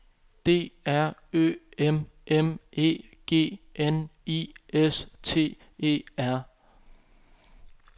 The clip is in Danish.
D R Ø M M E G N I S T E R